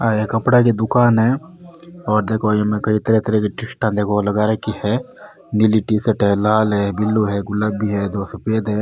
ये कपडा की दुकान है और देखो इ में कई तरह तरह की टी-शर्ट लगा रखी है नीली टी-शर्ट है लाल है ब्लू है गुलाबी है दो सफेद है।